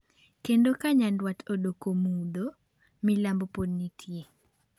Kendo ka Nyanduat odoko mudho, milambo pod nitie.